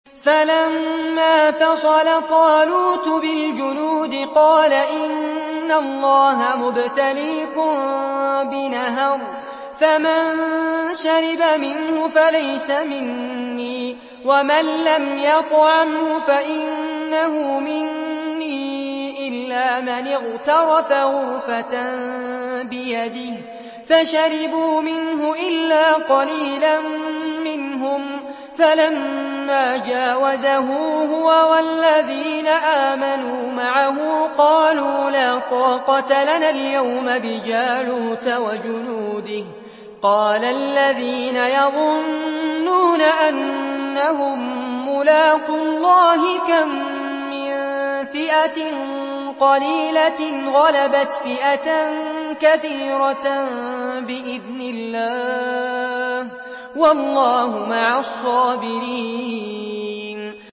فَلَمَّا فَصَلَ طَالُوتُ بِالْجُنُودِ قَالَ إِنَّ اللَّهَ مُبْتَلِيكُم بِنَهَرٍ فَمَن شَرِبَ مِنْهُ فَلَيْسَ مِنِّي وَمَن لَّمْ يَطْعَمْهُ فَإِنَّهُ مِنِّي إِلَّا مَنِ اغْتَرَفَ غُرْفَةً بِيَدِهِ ۚ فَشَرِبُوا مِنْهُ إِلَّا قَلِيلًا مِّنْهُمْ ۚ فَلَمَّا جَاوَزَهُ هُوَ وَالَّذِينَ آمَنُوا مَعَهُ قَالُوا لَا طَاقَةَ لَنَا الْيَوْمَ بِجَالُوتَ وَجُنُودِهِ ۚ قَالَ الَّذِينَ يَظُنُّونَ أَنَّهُم مُّلَاقُو اللَّهِ كَم مِّن فِئَةٍ قَلِيلَةٍ غَلَبَتْ فِئَةً كَثِيرَةً بِإِذْنِ اللَّهِ ۗ وَاللَّهُ مَعَ الصَّابِرِينَ